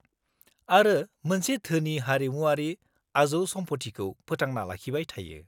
-आरो मोनसे धोनि हारिमुआरि आजौसमफथिखौ फोथांना लाखिबाय थायो।